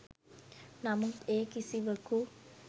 නමුත් ඒ කිසිවකු